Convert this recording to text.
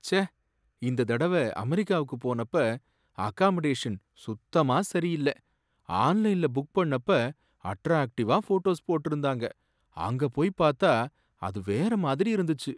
ச்சே! இந்த தடவ அமெரிக்காவுக்கு போனப்ப அகாமடேஷன் சுத்தமா சரியில்ல. ஆன்லைன்ல புக் பண்ணப்ப அட்ராக்டிவா ஃபோட்டோஸ் போட்டிருந்தாங்க, அங்க போய் பார்த்தா அது வேற மாதிரி இருந்துச்சு.